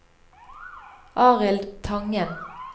Arild Tangen